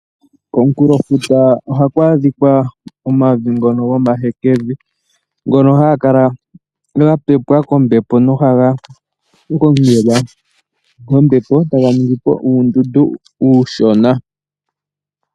Komukulofuta ohaku adhika omavi ngono gomahekevi ngono haga kala gapepwa kombepo nohaga gongelwa kombepo, etaga ningipo uundundu uushona.